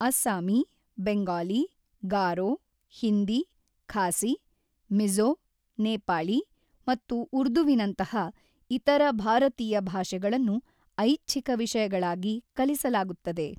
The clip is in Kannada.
ಅಸ್ಸಾಮಿ, ಬೆಂಗಾಲಿ, ಗಾರೋ, ಹಿಂದಿ, ಖಾಸಿ, ಮಿಝೊ, ನೇಪಾಳಿ ಮತ್ತು ಉರ್ದುವಿನಂತಹ ಇತರ ಭಾರತೀಯ ಭಾಷೆಗಳನ್ನು ಐಚ್ಛಿಕ ವಿಷಯಗಳಾಗಿ ಕಲಿಸಲಾಗುತ್ತದೆ.